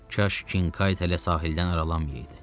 Kaş Kinkayt hələ sahildən aralanmayıdı.